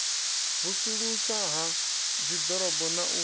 vusuluswa ha dziḓorobo na u